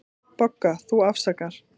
BOGGA: Þú afsakar.